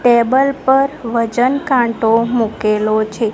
Table પર વજન કાંટો મુકેલો છે.